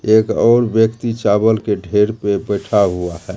एक और व्यक्ति चावल के देर पे बैठा हुआ है।